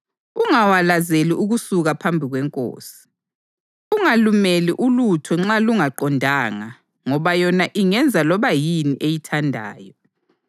Ungawalazeli ukusuka phambi kwenkosi. Ungalumeli ulutho nxa lungaqondanga ngoba yona ingenza loba yini eyithandayo.